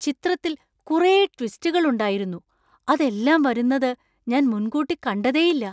ചിത്രത്തിൽ കുറെ ട്വിസ്റ്റുകൾ ഉണ്ടായിരുന്നു! അതെല്ലാം വരുന്നത് ഞാൻ മുന്‍കൂട്ടി കണ്ടതേയില്ല.